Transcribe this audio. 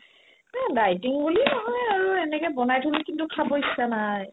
এহ্, dieting বুলি নহয় আৰু এনেকে বনাই থলো কিন্তু খাব ইচ্ছা নাই